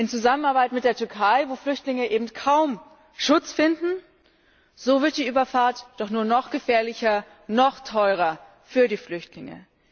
In Zusammenarbeit mit der Türkei, wo Flüchtlinge eben kaum Schutz finden? So wird die Überfahrt doch nur noch gefährlicher, noch teurer für die Flüchtlinge.